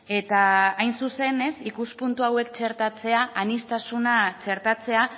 eta hain zuzen ikuspuntu hauek txertatzea aniztasuna txertatzea